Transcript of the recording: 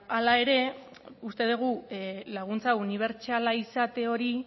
hala ere uste dugu laguntza unibertsala izate hori